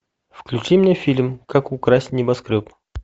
включи мне фильм как украсть небоскреб